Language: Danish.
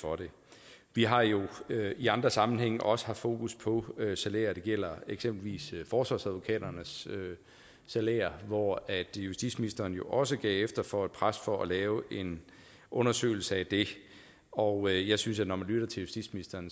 for det vi har jo i andre sammenhænge også haft fokus på salærer det gælder eksempelvis forsvarsadvokaternes salærer hvor justitsministeren jo også gav efter for et pres for at lave en undersøgelse af det og jeg synes at når man lytter til justitsministeren